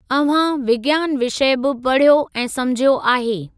अव्हां विज्ञान विषय बि पढ़ियो ऐं समुझियो आहे।